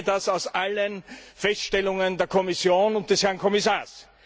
Ich erkenne das aus allen Feststellungen der Kommission und des Herrn Kommissars.